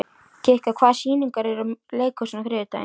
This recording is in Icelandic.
Kikka, hvaða sýningar eru í leikhúsinu á þriðjudaginn?